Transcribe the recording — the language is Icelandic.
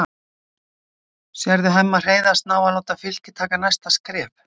Sérðu Hemma Hreiðars ná að láta Fylki taka næsta skref?